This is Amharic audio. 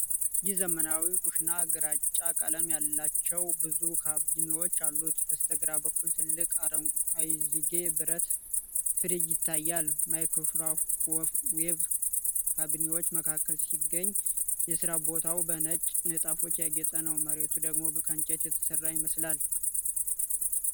ይህ ዘመናዊ ኩሽና ግራጫ ቀለም ያላቸው ብዙ ካቢኔቶች አሉት። በስተግራ በኩል ትልቅ አይዝጌ ብረት ፍሪጅ ይታያል። ማይክሮዌቭ ካቢኔቶች መካከል ሲገኝ፣ የሥራ ቦታው በነጭ ንጣፎች ያጌጠ ነው። መሬቱ ደግሞ ከእንጨት የተሰራ ይመስላል።